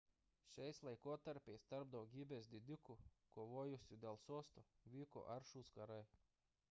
šiais laikotarpiais tarp daugybės didikų kovojusių dėl sosto vyko aršūs karai